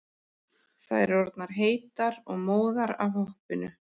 Þær orðnar heitar og móðar af hoppinu.